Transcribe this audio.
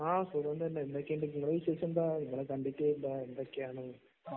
ആഹ് സുഖം തന്നെ എന്തൊക്കെയാണ് ഞാൻ കണ്ടിട്ടേയില്ല . എന്തൊക്കെയാണ്